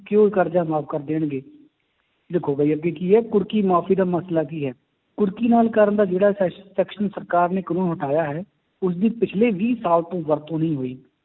ਕਿ ਉਹ ਕਰਜ਼ਾ ਮਾਫ਼ ਕਰ ਦੇਣਗੇ ਦੇਖੋ ਵੀ ਅੱਗੇ ਕੀ ਹੈ ਕੁਰਕੀ ਮਾਫ਼ੀ ਦਾ ਮਸਲਾ ਕੀ ਹੈ, ਕੁਰਕੀ ਨਾਲ ਕਰਨ ਦਾ ਜਿਹੜਾ ਸੈ~ section ਸਰਕਾਰ ਨੇ ਕਾਨੂੰਨ ਹਟਾਇਆ ਹੈ, ਉਸਦੀ ਪਿੱਛਲੇ ਵੀਹ ਸਾਲ ਤੋਂ ਵਰਤੋਂ ਨਹੀਂ ਹੋਈ